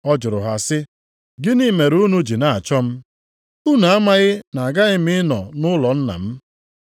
Ọ jụrụ ha sị, “Gịnị mere unu ji na-achọ m? Unu amaghị na aghaghị m ịnọ nʼụlọ Nna m?”